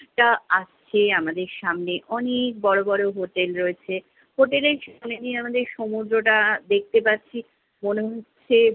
টা আসছে আমাদের সামনে। অনেক বড় বড় হোটেল রয়েছে। হোটেলের সামনে দিয়ে আমাদের সমুদ্রটা দেখতে পাচ্ছি। মনে হচ্ছে